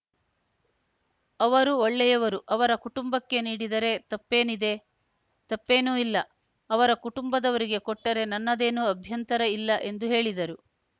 ಅವರು ಒಳ್ಳೆಯವರು ಅವರ ಕುಟುಂಬಕ್ಕೆ ನೀಡಿದರೆ ತಪ್ಪೇನಿದೆ ತಪ್ಪೇನೂ ಇಲ್ಲ ಅವರ ಕುಟುಂಬದವರಿಗೆ ಕೊಟ್ಟರೆ ನನ್ನದೇನೂ ಅಭ್ಯಂತರ ಇಲ್ಲ ಎಂದು ಹೇಳಿದರು